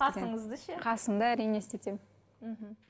қасыңызды ше қасымды әрине істетемін мхм